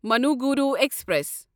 Manuguru express